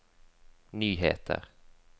nyheter